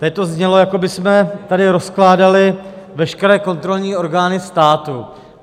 Tady to znělo, jako bychom tady rozkládali veškeré kontrolní orgány státu.